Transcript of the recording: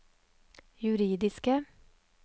juridiske